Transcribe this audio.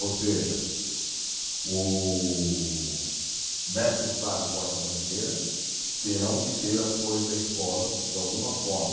Ou seja, o mestre-sala e porta-bandeira terão que ter as cores da escola de alguma forma.